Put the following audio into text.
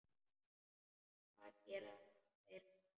Hvað gera þeir þá?